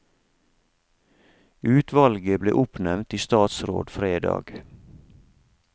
Utvalget ble oppnevnt i statsråd fredag.